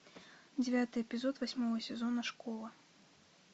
девятый эпизод восьмого сезона школа